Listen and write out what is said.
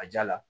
A ja la